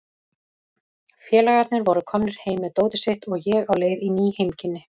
Félagarnir voru komnir heim með dótið sitt og ég á leið í ný heimkynni.